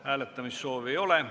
Hääletamissoovi ei ole.